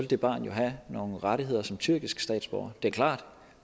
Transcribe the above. det barn jo have nogle rettigheder som tyrkisk statsborger det er klart at